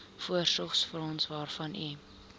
voorsorgsfonds waarvan u